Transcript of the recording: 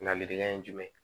Ladilikan ye jumɛn ye